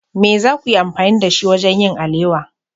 Me za ku yi amfani da shi wajen yin alewa?